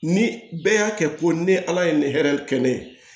Ni bɛɛ y'a kɛ ko ni ala ye nin hɛrɛ kɛ ne ye